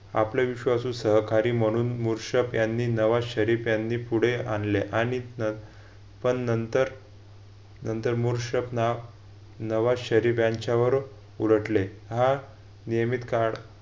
आपले विश्वासू सहकारी म्हणून मूरशप यांनी नवा शरीफ यांनी पुढे आणले आणि व पण नंतर मूरशप ना नवा शरीफ यांच्यावर उलटले. हा नियमित काळ